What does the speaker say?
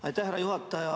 Aitäh, härra juhataja!